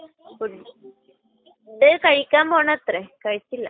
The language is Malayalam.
ഫുഡ് കഴിക്കാൻ പോണത്രേ. കഴിച്ചില്ല.